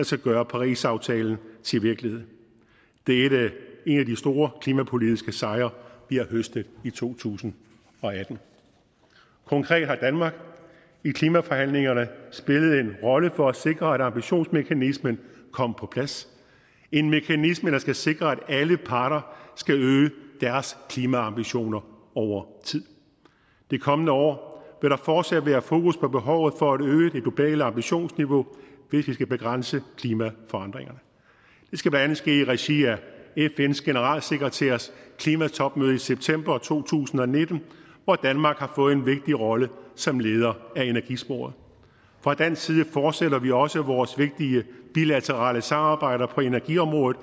skal gøre parisaftalen til virkelighed det er en af de store klimapolitiske sejre vi har høstet i to tusind og atten konkret har danmark i klimaforhandlingerne spillet en rolle for at sikre at ambitionsmekanismen kom på plads en mekanisme der skal sikre at alle parter skal øge deres klimaambitioner over tid det kommende år vil der fortsat være fokus på behovet for at øge det globale ambitionsniveau hvis vi skal begrænse klimaforandringerne det skal blandt andet ske i regi af fns generalsekretærs klimatopmøde i september to tusind og nitten hvor danmark har fået en vigtig rolle som leder af energisporet fra dansk side fortsætter vi også vores vigtige bilaterale samarbejder på energiområdet